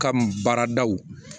Kam baaradaw